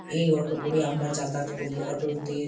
এই অটো করে আমরা যাতায়াত করি। অটো - তে ।